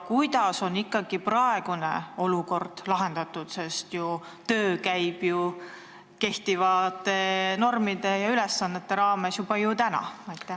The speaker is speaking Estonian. Kuidas on ikkagi praegu olukord lahendatud, sest töö käib ju kehtivate normide ja ülesannete raames juba täna?